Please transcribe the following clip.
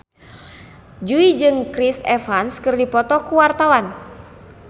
Jui jeung Chris Evans keur dipoto ku wartawan